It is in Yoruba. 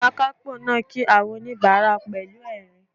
Akápò náà kí àwọn oníbàárà pẹ̀lú ẹ̀rín